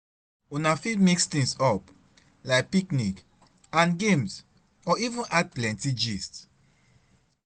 Una fit mix things up like picnic and games or even add plenty gist